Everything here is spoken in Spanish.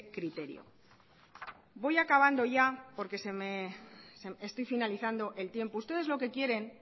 criterio voy acabando ya porque estoy finalizando el tiempo ustedes lo que quieren